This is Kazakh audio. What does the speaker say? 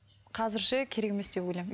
қазірше керек емес деп ойлаймын